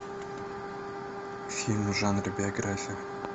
фильмы в жанре биография